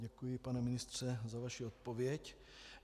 Děkuji, pane ministře, za vaši odpověď.